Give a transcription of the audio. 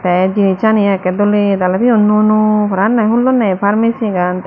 te jinichani ekkey doley daley toyon nuyo nuyo prapanye hullonney ye pharmacy gan.